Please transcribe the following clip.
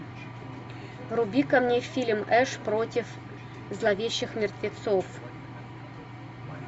вруби ка мне фильм эш против зловещих мертвецов